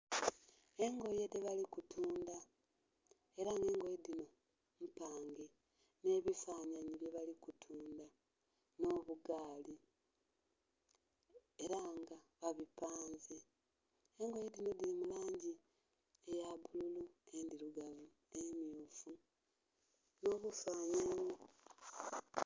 Engoye dhebali kutundha era nga engoye dhinho mpange nhe bifanhanhi byebali kutundha, nh'obugaali era nga babupanze. Engoye dhinho dhiri mulangi eya bbululu, endhilugavu, emmyufu nh'ebifanhanhi.